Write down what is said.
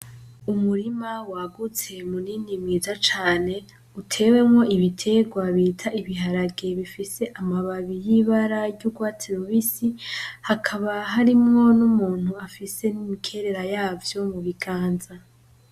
Umurima wagutse munini mwiza cane utewemwo ibiterwa bita ibiharage bifise amababi y'ibara ry'urwatsi rubisi, hakaba harimwo n'umuntu afise n'imikerera yavyo mu biganza.